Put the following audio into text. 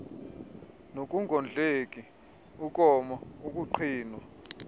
nokungondleki ukoma ukuqhinwa